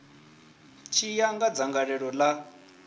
tshi ya nga dzangalelo ḽa